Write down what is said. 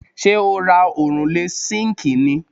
Ṣé o ra òrùlé síǹkì ni+